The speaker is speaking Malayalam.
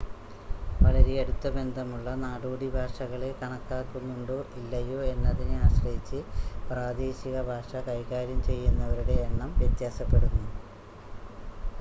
വളരെ അടുത്ത ബന്ധമുള്ള നാടോടി ഭാഷകളെ കണക്കാക്കുന്നുണ്ടോ ഇല്ലയോ എന്നതിനെ ആശ്രയിച്ച് പ്രാദേശിക ഭാഷ കൈകാര്യം ചെയ്യുന്നവരുടെ എണ്ണം വ്യത്യാസപ്പെടുന്നു